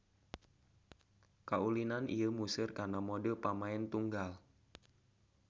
Kaulinan ieu museur kana mode pamaen tunggal.